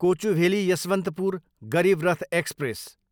Kochuveli, Yesvantpur Garib Rath express